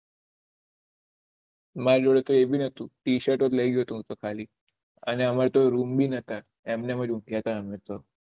મારી જોડે તો એ ભી નથુ ટી શર્ટ લઇ ગયો હતો ખાલી અને અમારે તો રૂમ ભી નથા એમ નેમ જ ઊંધ્યા હતા અમે તો